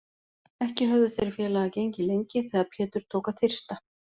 Ekki höfðu þeir félagar gengið lengi þegar Pétur tók að þyrsta.